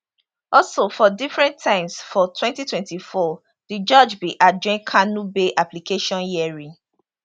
also for different times for 2024 di judge bin adjourn kanu bail application hearing